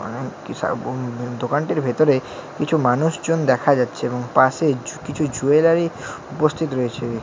দোকানটির ভেতরে কিছু মানুষজন দেখা যাচ্ছে এবং পাশে ছু-কিছু জুয়েলারি উপস্থিত রয়েছে দেখ--